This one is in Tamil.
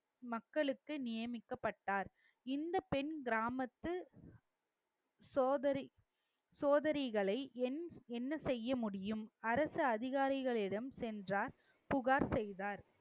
மக்களுக்கு நியமிக்கப்பட்டார் இந்தப் பெண் கிராமத்து சோதரி~ சோதரிகளை என்~ என்ன செய்ய முடியும் அரசு அதிகாரிகளிடம் சென்றார் புகார் செய்தார்